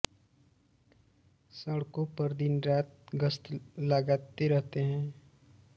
सड़कों पर दिन रात गश्त लगाते रहते हैं